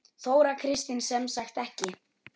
Þóra Kristín: Sem sagt ekki?